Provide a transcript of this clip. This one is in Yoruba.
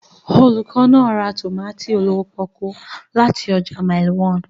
Olùkọ́ náà ra tòmátì olówó pọ́ọ́kú láti ọjà Mile 1w.